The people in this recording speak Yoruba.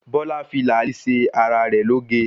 Bọ́lá fi làálì ṣe ara rẹ̀ lóge.